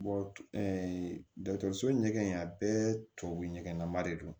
dɔkɔtɔrɔso ɲɛgɛn a bɛɛ tubabu ɲɛgɛn nama de don